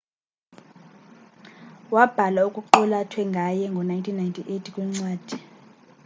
wabhala okuqulathwe ngaye ngo 1998 kwincwadi